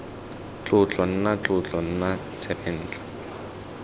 tlotlo nna tlotlo nna tsebentlha